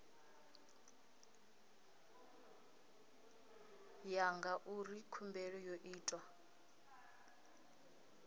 ya ngauri khumbelo yo itwa